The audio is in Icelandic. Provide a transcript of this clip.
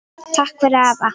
Takk fyrir afa.